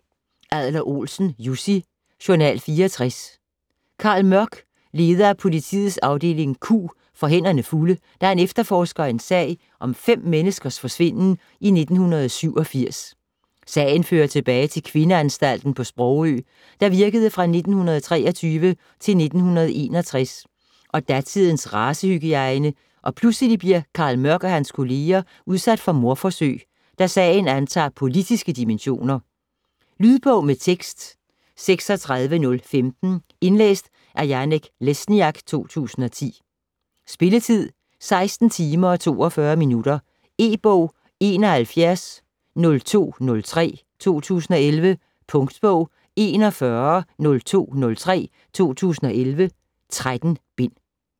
Adler-Olsen, Jussi: Journal 64 Carl Mørck, leder af politiets afdeling Q, får hænderne fulde, da han efterforsker en sag om fem menneskers forsvinden i 1987. Sagen fører tilbage til kvindeanstalten på Sprogø, der virkede fra 1923-1961 og datidens racehygiejne og pludselig bliver Carl Mørck og hans kolleger udsat for mordforsøg, da sagen antager politiske dimensioner. Lydbog med tekst 36015 Indlæst af Janek Lesniak, 2010. Spilletid: 16 timer, 42 minutter. E-bog 710203 2011. Punktbog 410203 2011. 13 bind.